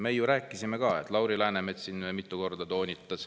"Me ju rääkisime ka," toonitas Lauri Läänemets siin mitu korda.